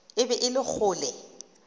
e be e le kgole